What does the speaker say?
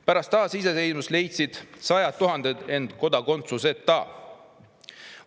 Pärast taasiseseisvumist leidsid sajad tuhanded end kodakondsuseta.